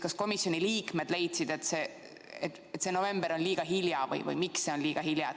Kas komisjoni liikmed leidsid, et november on liiga hilja või miks see on liiga hilja?